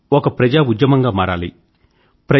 ఇది ఒక ప్రజా ఉద్యమం గా మారాలి